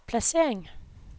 placering